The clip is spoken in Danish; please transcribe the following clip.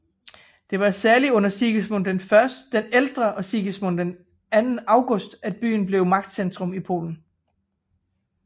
Det var særlig under Sigismund I den ældre og Sigismund II August at byen blev et magtcentrum i Polen